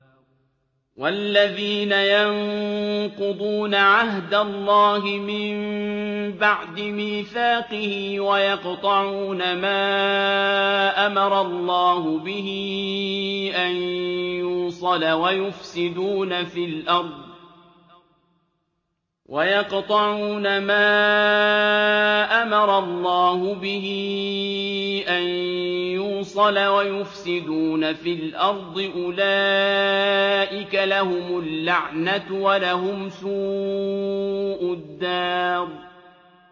وَالَّذِينَ يَنقُضُونَ عَهْدَ اللَّهِ مِن بَعْدِ مِيثَاقِهِ وَيَقْطَعُونَ مَا أَمَرَ اللَّهُ بِهِ أَن يُوصَلَ وَيُفْسِدُونَ فِي الْأَرْضِ ۙ أُولَٰئِكَ لَهُمُ اللَّعْنَةُ وَلَهُمْ سُوءُ الدَّارِ